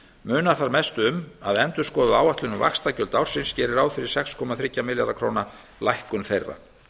munar þar mest um að endurskoðuð áætlun um vaxtagjöld ársins gerir ráð fyrir sex komma þrjá milljarða króna lækkun þeirra